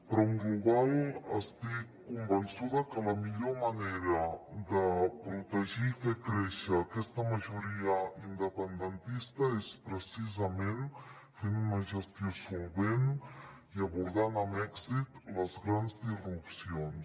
però en global estic convençuda que la millor manera de protegir i fer créixer aquesta majoria independentista és precisament fent una gestió solvent i abordant amb èxit les grans disrupcions